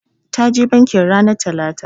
Ta je bankin ranar talata.